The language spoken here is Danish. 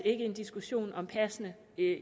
ikke en diskussion om passene